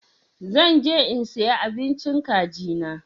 Zan je in siya abincin kagi na.